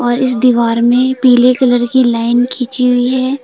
इस दीवार में पीले कलर की लाइन खींची हुई है।